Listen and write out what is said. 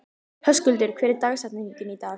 Höskuldur, hver er dagsetningin í dag?